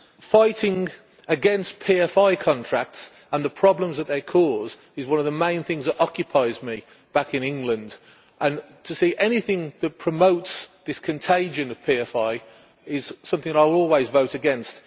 Fighting against PFI contracts and the problems that they cause is one of the main things that occupy me back in England, and to see anything that promotes this contagion of PFIs is something that I will always vote against.